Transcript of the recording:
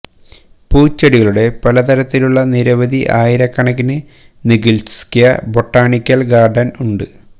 പൂച്ചെടികളുടെ പല തരത്തിലുള്ള നിരവധി ആയിരക്കണക്കിന് നികിത്സ്ക്യ് ബോട്ടാണിക്കൽ ഗാർഡൻ ഉണ്ട്